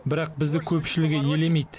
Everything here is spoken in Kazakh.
бірақ бізді көпшілігі елемейді